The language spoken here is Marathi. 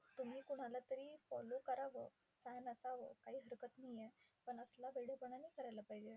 तुम्ही कोणाला तरी follow करावं, fan असावं. पण असला वेडेपणा नाही करायला पाहिजे.